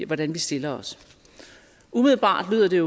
hvordan vi stiller os umiddelbart lyder det